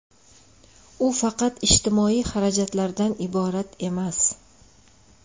U faqat ijtimoiy xarajatlardan iborat emas.